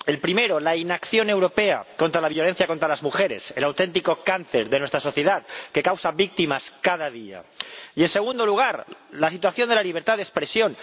El primero, la inacción europea contra la violencia contra las mujeres, el auténtico cáncer de nuestra sociedad que causa víctimas cada día, y, en segundo lugar, la situación de la libertad de expresión.